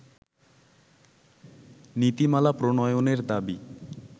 নীতিমালা প্রণয়নের দাবি